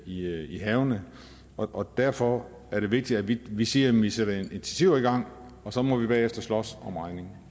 i havene og derfor er det vigtigt at vi vi siger at vi sætter initiativer i gang og så må vi bagefter slås om regningen